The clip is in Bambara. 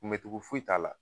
Kunbɛncogo foyi t'a la